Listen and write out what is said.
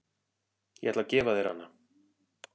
Ég ætla að gefa þér hana.